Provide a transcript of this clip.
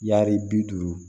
Yaari bi duuru